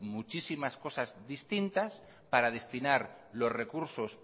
muchísimas cosas distintas para destinar los recursos